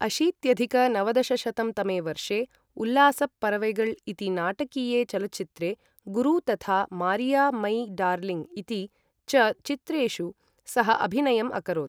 अशीत्यधिक नवदशशतं तमे वर्षे, उल्लास परवैगळ् इति नाटकीये चलच्चित्रे, गुरु तथा मारिया मै डार्लिंग् इति च चित्रेषु सः अभिनयम् अकरोत्।